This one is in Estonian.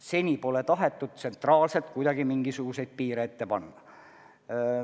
Seni pole tahetud tsentraalselt kuidagi mingisuguseid piire ette panna.